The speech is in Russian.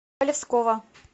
полевского